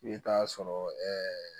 I bɛ taa sɔrɔ ɛɛ